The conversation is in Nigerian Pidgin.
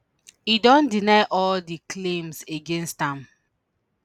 e don deny all di claims against am